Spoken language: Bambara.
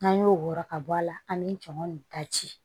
N'an y'o wɔɔrɔ ka bɔ a la an bɛ jama nin daji